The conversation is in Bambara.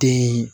Den